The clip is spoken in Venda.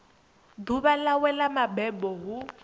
ḓuvha ḽawe ḽa mabebo hu